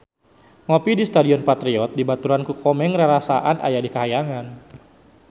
Ngopi di Stadion Patriot dibaturan ku Komeng rarasaan aya di kahyangan